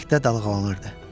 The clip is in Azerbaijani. Küləkdə dalğalanırdı.